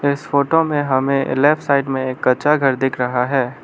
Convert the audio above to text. इस फोटो में हमें लेफ्ट साइड में एक कच्चा घर दिख रहा है।